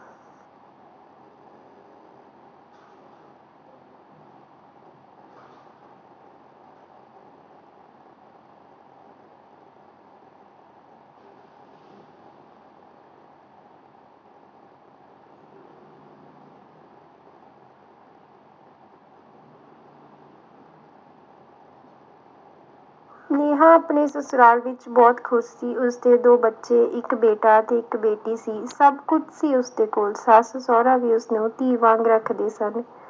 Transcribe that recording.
ਸਨੇਹਾ ਆਪਣੇ ਸਸੂਰਾਲ ਵਿਚ ਬਹੁਤ ਖੁਸ਼ ਸੀ ਉਸਦੇ ਦੋ ਬੱਚੇ ਇਕ ਬੇਟਾ ਤੇ ਇਕ ਬੇਟੀ ਸੀ ਸਭ ਕੁਝ ਸੀ ਉਸਦੇ ਕੋਲ ਸੱਸ ਸਹੁਰਾ ਵੀ ਉਸਨੂੰ ਧੀ ਵਾਂਗ ਰੱਖਦੇ ਸਨ